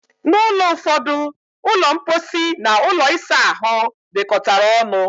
N'ulo ụfọdụ, ulo mposi and ụlọ isa ahụ dikotara ọṅụ